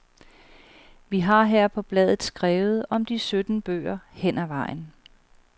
Vi har her på bladet skrevet om de sytten bøger hen ad vejen.